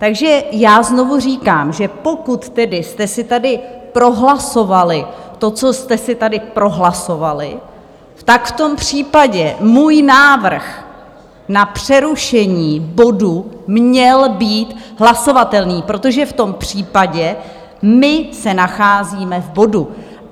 Takže já znovu říkám, že pokud tedy jste si tady prohlasovali to, co jste si tady prohlasovali, tak v tom případě můj návrh na přerušení bodu měl být hlasovatelný, protože v tom případě my se nacházíme v bodu.